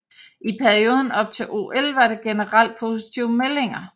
I perioden op til OL var der generelt positive meldinger